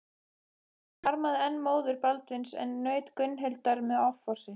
Hann harmaði enn móður Baldvins en naut Gunnhildar með offorsi.